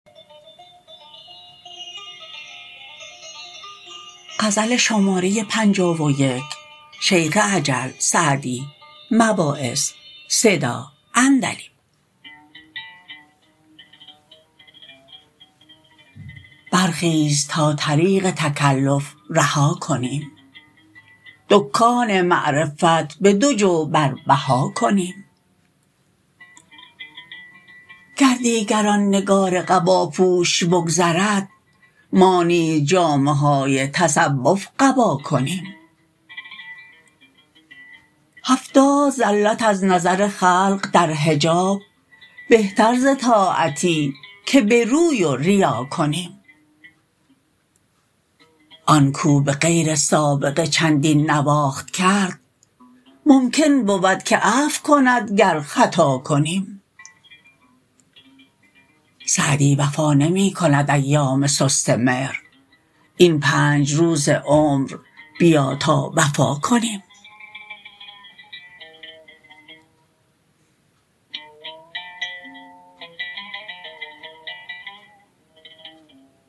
برخیز تا طریق تکلف رها کنیم دکان معرفت به دو جو بر بها کنیم گر دیگر آن نگار قباپوش بگذرد ما نیز جامه های تصوف قبا کنیم هفتاد زلت از نظر خلق در حجاب بهتر ز طاعتی که به روی و ریا کنیم آن کاو به غیر سابقه چندین نواخت کرد ممکن بود که عفو کند گر خطا کنیم سعدی وفا نمی کند ایام سست مهر این پنج روز عمر بیا تا وفا کنیم